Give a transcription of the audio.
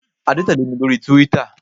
Adé tẹ̀lé mi lórí túwítà